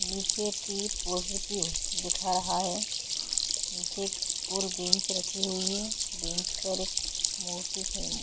नीचे टी पॉजिटिव दिख रहा हैं नीचे और बेंच रखी हुई हैं बेंच पर एक --